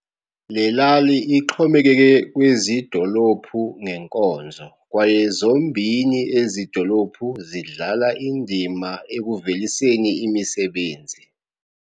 Lelali ixhomekeke kwezidolophu ngenkonzo kwaye zombini ezidolophu zidlala indima ekuveliseni imisebenzi.